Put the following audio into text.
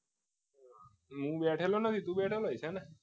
હું બેઠેલો ને કોઈ બેઠેલો એ છે ને સુઈ બેઠેલો છે